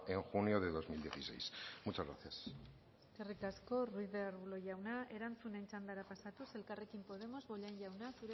en junio del dos mil dieciséis muchas gracias eskerrik asko ruiz de arbulo jauna erantzunen txandara pasatuz elkarrekin podemos bollain jauna